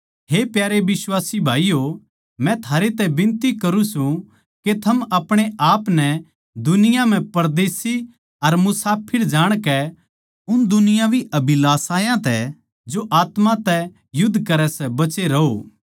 हे प्यारे बिश्वासी भाईयो मै थारै तै बिनती करूँ सूं के थम अपणे आपनै दुनिया म्ह परदेशी अर मुसाफर जाणकै उन दुनियावी अभिलाषायां तै जो आत्मा तै युध्द करै सै बचे रहो